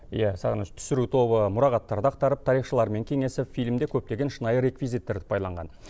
иә сағыныш түсіру тобы мұрағаттарды ақтарып тарихшылармен кеңесіп фильмде көптеген шынайы реквизиттерді пайдаланған